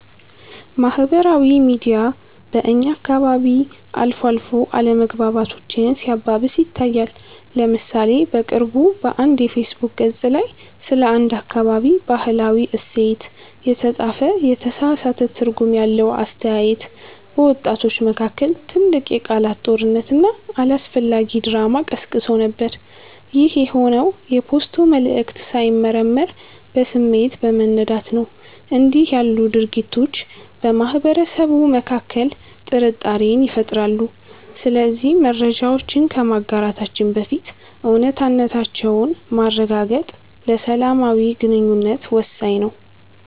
ማህበራዊ ሚዲያ በእኛ አካባቢ አልፎ አልፎ አለመግባባቶችን ሲያባብስ ይታያል። ለምሳሌ በቅርቡ በአንድ የፌስቡክ ገፅ ላይ ስለ አንድ አካባቢ "ባህላዊ እሴት" የተጻፈ የተሳሳተ ትርጉም ያለው አስተያየት፣ በወጣቶች መካከል ትልቅ የቃላት ጦርነትና አላስፈላጊ ድራማ ቀስቅሶ ነበር። ይህ የሆነው የፖስቱ መልዕክት ሳይመረመር በስሜት በመነዳት ነው። እንዲህ ያሉ ድርጊቶች በማህበረሰቡ መካከል ጥርጣሬን ይፈጥራሉ። ስለዚህ መረጃዎችን ከማጋራታችን በፊት እውነታነታቸውን ማረጋገጥ ለሰላማዊ ግንኙነት ወሳኝ ነው።